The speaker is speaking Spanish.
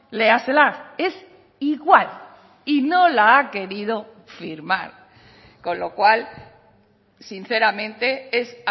léasela es igual y no la ha querido firmar con lo cual sinceramente es